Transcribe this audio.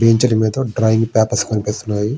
Bench ల మీద drawing papers కనిపిస్తున్నాయి.